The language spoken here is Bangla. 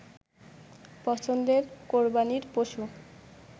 পছন্দের কোরবানীর পশু